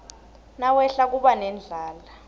nawehla kuba nendlala